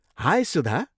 High Sudha!